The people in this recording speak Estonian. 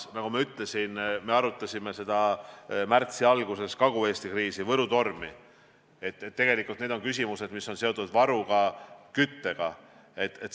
Nagu me arutasime märtsi alguses Kagu-Eesti kriisi, Võrumaa tormi kogemusi, peame ka selle kriisiga seoses analüüsima küsimusi, mis on seotud kütusevarudega.